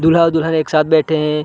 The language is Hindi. दुल्हा और दुल्हन एक साथ बैठे हैं ।